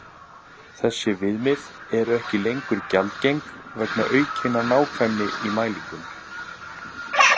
Þessi viðmið eru ekki lengur gjaldgeng vegna aukinnar nákvæmni í mælingum.